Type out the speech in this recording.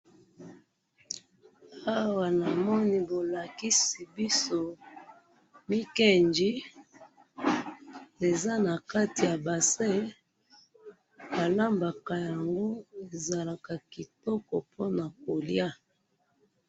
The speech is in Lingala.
awa namoni bolakisi biso mikenji eza nakati ya bassin balambaka yango ezalaka kitoko po na kolya